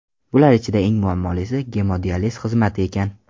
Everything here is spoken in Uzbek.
Bular ichida eng muammolisi gemodializ xizmati ekan.